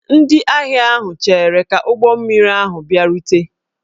Ndị ahịa ahụ cheere ka ụgbọ mmiri ahụ bịarute